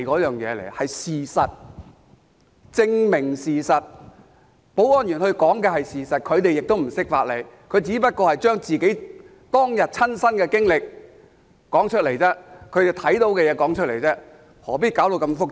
提供證據是為了證明事實，保安員說的是事實，他們亦不懂法理，只是說出當日的親身經歷，將看到的事說出來，何必說到這麼複雜？